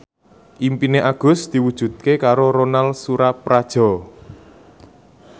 impine Agus diwujudke karo Ronal Surapradja